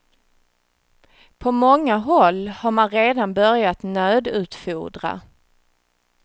På många håll har man redan börjat nödutfodra.